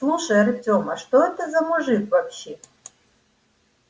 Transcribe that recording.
слушай артем а что это за мужик вообще